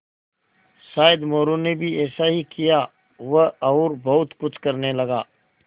शायद मोरू ने भी ऐसा ही किया वह और बहुत कुछ करने लगा